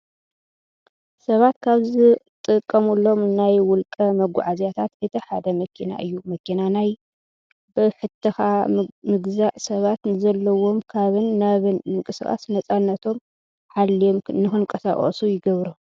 ሰባት ካብ ዝጥቀምሎም ናይ ውልቀ መጓዓዓዝያታት እቲ ሓደ መኪና እዩ። መኪናናይ ብሕትኻ ምግዛእ ሰባት ንዘለዎም ካብን ናብን ምንቅስቃስ ነፃነቶም ሓልዮም ንክንቀሳቀሱ ይገብሮም።